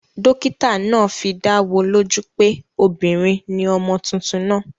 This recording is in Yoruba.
Dókítà naa fidáwo lójú pé obìnrin ni ọmọ tuntun naa